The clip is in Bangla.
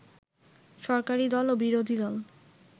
সরকারি দল ও বিরোধীদল